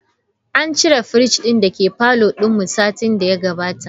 An cire fridge din dake parlour din mu satin daya gabata.